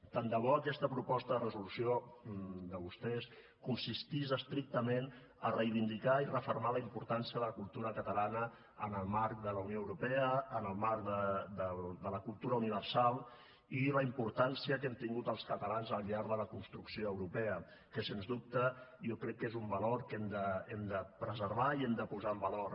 tant de bo aquesta proposta de resolució de vostès consistís estrictament a reivindicar i refermar la importància de la cultura catalana en el marc de la unió europea en el marc de la cultura universal i la importància que hem tingut els catalans al llarg de la construcció europea que sens dubte jo crec que és un valor que hem de preservar i hem de posar en valor